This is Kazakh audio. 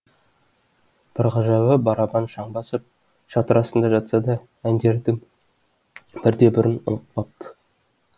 бір ғажабы барабан шаң басып шатыр астында жатса да әндердің бірде бірін ұмытпапты